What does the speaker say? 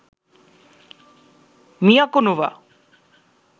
Miyako, Nova